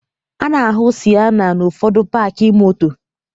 A na-ahụ Siena n'ụfọdụ paakị moto